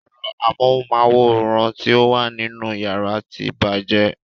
Ero amóhunmáwòrán ti o wà nínú yàrá tí bàjẹ́.